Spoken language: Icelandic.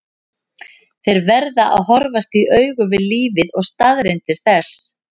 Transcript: Þeir verða að horfast í augu við lífið og staðreyndir þess.